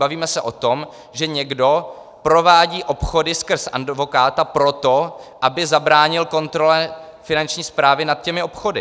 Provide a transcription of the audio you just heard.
Bavíme se o tom, že někdo provádí obchody skrz advokáta proto, aby zabránil kontrole Finanční správy nad těmi obchody.